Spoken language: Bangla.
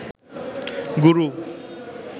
গুরু